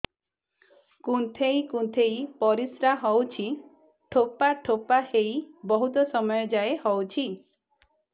କୁନ୍ଥେଇ କୁନ୍ଥେଇ ପରିଶ୍ରା ହଉଛି ଠୋପା ଠୋପା ହେଇ ବହୁତ ସମୟ ଯାଏ ହଉଛି